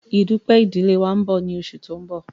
Ìdúpẹ̀ idìlé wa nbọ ni oṣù tí n bọ̀